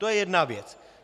To je jedna věc.